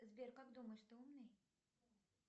сбер как думаешь ты умный